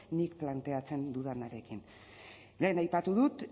nik planteatzen dudanarekin lehen aipatu dut